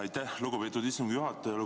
Aitäh, lugupeetud istungi juhataja!